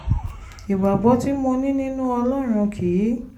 ìgbàgbọ́ tí mo ní nínú ọlọ́run kì í